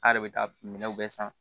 A' yɛrɛ bɛ taa minɛw bɛɛ san